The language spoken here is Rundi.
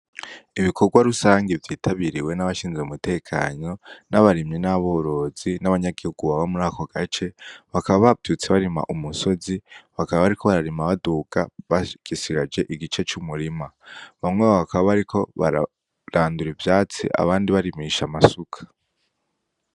Ibikorwa rusangi vyitabiriwe nabashinzwe umutekano n'abarimyi n'aborozi n'abanyagihugu baba muri ako gace bakaba bavyutse barima umusozi bakaba bararima baduga basigaje igice c'umurima bamwe bakaba bariko bararandura ivyatsi abandi barimisha amasuka.